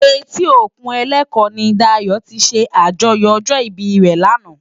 Éti ókún Eleko ni Dayo ti sé ájòyò òjò ibi re làná